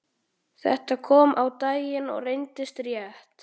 Þetta kom á daginn og reyndist rétt.